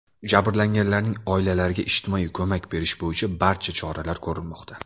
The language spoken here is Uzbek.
Jabrlanganlarning oilalariga ijtimoiy ko‘mak berish bo‘yicha barcha choralar ko‘rilmoqda.